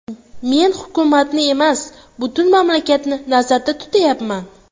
Men hukumatni emas, butun mamlakatni nazarda tutyapman.